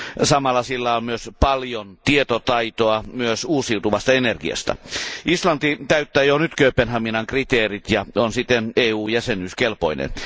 Samalla sillä on paljon tietotaitoa myös uusiutuvasta energiasta. Islanti täyttää jo nyt Kööpenhaminan kriteerit ja on siten EU jäsenyyskelpoinen.